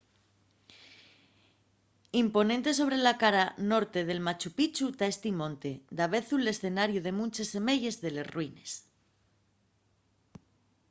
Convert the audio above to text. imponente sobre la cara norte de machu pichu ta esti monte davezu l’escenariu de munches semeyes de les ruines